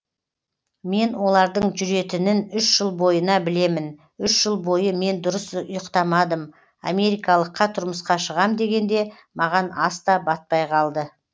мен олардың жүретінін үш жыл бойына білемін үш жыл бойы мен дұрыс ұйықтамадым америкалыққа тұрмысқа шығам дегенде маған ас та батпай қалды